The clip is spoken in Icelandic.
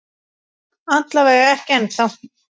Alla vega ekki ennþá.